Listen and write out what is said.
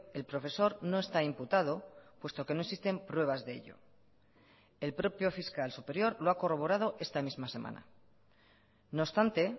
el profesor no está imputado puesto que no existen pruebas de ello el propio fiscal superior lo ha corroborado esta misma semana no obstante